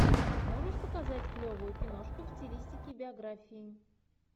можешь показать клевую киношку в стилистике биографии